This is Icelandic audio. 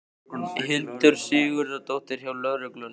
Hildur Sigurðardóttir: Hjá lögreglunni?